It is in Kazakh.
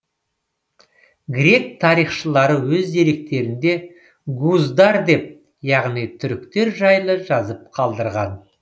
грек тарихшылары өз деректерінде гуздар деп яғни түріктер жайлы жазып қалдырған